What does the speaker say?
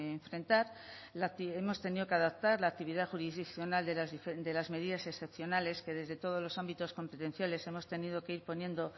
enfrentar hemos tenido que adaptar la actividad jurisdiccional de las medidas excepcionales que desde todos los ámbitos competenciales hemos tenido que ir poniendo